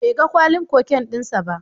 Bai ga kwalin cocaine din sa ba.